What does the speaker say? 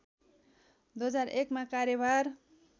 २००१ मा कार्यभार